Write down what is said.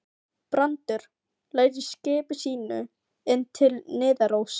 Brandur lagði skipi sínu inn til Niðaróss.